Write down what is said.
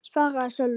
svaraði Sölvi.